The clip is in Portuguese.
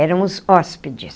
Éramos hóspedes.